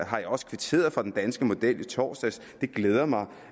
har jeg også kvitteret for den danske model i torsdags det glæder mig